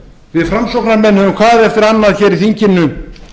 við framsóknarmenn höfum hvað eftir annað hér í þinginu